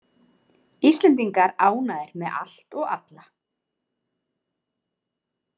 Íslendingar ánægðir með allt og alla